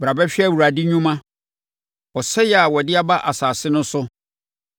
Bra bɛhwɛ Awurade nnwuma, ɔsɛeɛ a ɔde aba asase no so.